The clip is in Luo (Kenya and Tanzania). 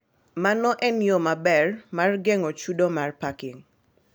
Mano en yo maber mar geng'o chudo mar parking.